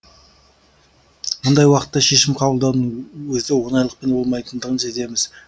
мұндай уақытта шешім қабылдаудың өзі оңайлықпен болмайтындығын сеземіз